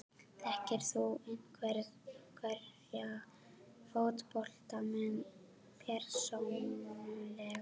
Þekkir þú einhverja fótboltamenn persónulega?